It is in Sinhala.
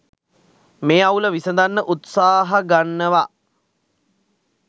මේ අවුල විසඳන්න උත්සාහගන්නවා